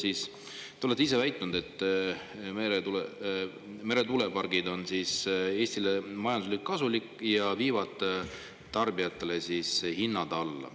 Te olete ise väitnud, et meretuulepargid on Eestile majanduslikult kasulikud ja viivad tarbijatele hinnad alla.